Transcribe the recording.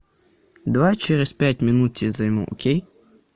давай через пять минут тебе займу окей